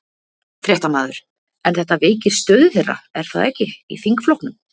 Fréttamaður: En þetta veikir stöðu þeirra, er það ekki, í þingflokknum?